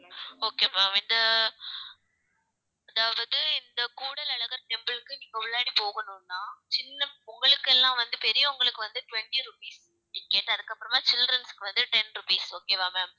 okay ma'am இந்த அதாவது இந்த கூடல் அழகர் temple க்கு நீங்க உள்ளாடி போகணும்ன்னா சின்ன உங்களுக்கெல்லாம் வந்து பெரியவங்களுக்கு வந்து twenty rupees ticket அதுக்கப்புறமா childrens க்கு வந்து ten rupees okay வா ma'am